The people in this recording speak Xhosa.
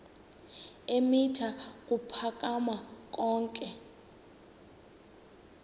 eemitha ukuphakama yonke